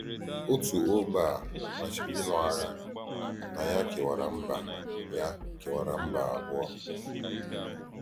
Òtù ógbè à màchírì ílụ́ àghà na yá kèwàrà mbà yá kèwàrà mbà à abụọ.